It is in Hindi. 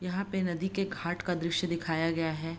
यहाँ पे नदी के घाट का दृश्य दिखाया गया है।